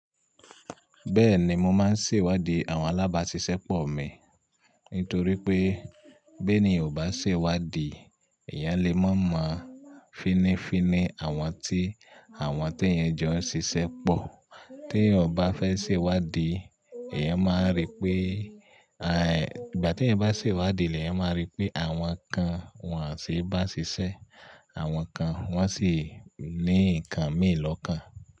Bẹ́ẹ̀ni, mo máa ń ṣèwádìí àwọn alábáṣiṣẹ́pọ̀ mi. Nítorí pé bí èniyan ò bá ṣèwádìí, ìyẹn le mọ̀ọ́ mọ finifini àwọn tí àwọn tí èèyàn jọ ń ṣiṣẹ́ pọ̀. Tí ò bá fẹ́ ṣèwádìí, ìyẹn máa rí pé, àì, ìgbà tí eeyan bá ṣèwádìí leyan máa rí pé àwọn kan wọ́n o se bá ṣiṣẹ́, àwọn kan wọ́n sì ní nǹkan mii kan.